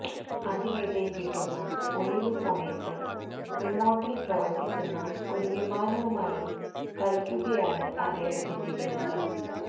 അതിനിടെ കിട്ടുന്ന ഒഴിവുസമയത്ത് റിമോട്ടില് പ്രവര്ത്തിക്കുന്ന ഒരു വിമാനവുമായി കളിക്കുകയാണ് അദ്ദേഹത്തിന്റെ വിനോദം